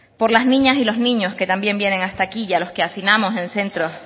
por las niñas y los niños que también vienen hasta aquí y a los que hacinamos en centros